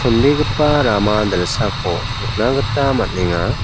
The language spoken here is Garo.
chonbegipa rama dilsako nikna gita man·enga.